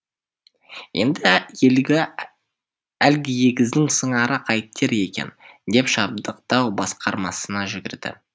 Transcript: енді әлгі егіздің сыңары қайтер екен деп жабдықтау басқармасына жүгірді